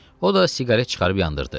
O da siqaret çıxarıb yandırdı.